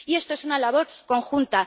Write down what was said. Esta es una labor conjunta.